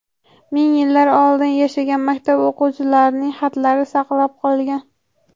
Ming yillar oldin yashagan maktab o‘quvchilarining xatlari saqlanib qolgan.